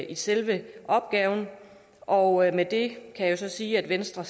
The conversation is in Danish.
i selve opgaven og med det kan jeg så sige at venstre